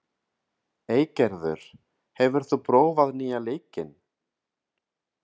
Eygerður, hefur þú prófað nýja leikinn?